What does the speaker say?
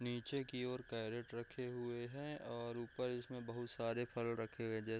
नीचे की ओर कैरेट रखे हुए है और ऊपर इसमें बहुत सारे फल रखे हुए जैसे --